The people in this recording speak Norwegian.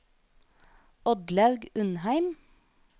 Oddlaug Undheim